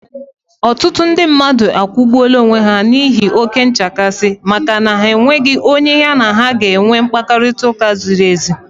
Ọtụtụ ndị mmadụ egbuola onwe ha n'ihi oke nchekasị, maka na ha enweghị onye ya na ha ga-enwe mkparịtaụka ziri ezi